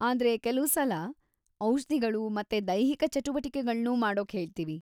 ಆದ್ರೆ ಕೆಲುಸಲ ನಾವು ಔಷ್ಧಿಗಳು ಮತ್ತೆ ದೈಹಿಕ ಚಟುವಟಿಕೆಗಳ್ನೂ ಮಾಡೋಕ್‌ ಹೇಳ್ತೀವಿ.